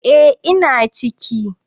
Eh ina ciki.